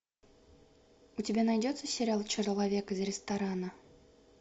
у тебя найдется сериал человек из ресторана